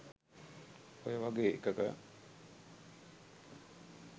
ඔය වගේ එකක